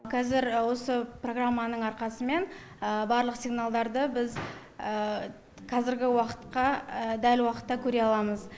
қазір осы программаның арқасымен барлық сигналдарды біз қазіргі уақытқа дәл уақытта көре аламыз